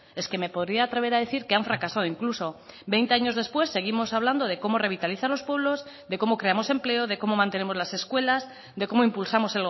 es que me podría atrever a decir que han fracasado incluso veinte años después seguimos hablando de cómo revitalizar los pueblos de cómo creamos empleo de cómo mantenemos las escuelas de cómo impulsamos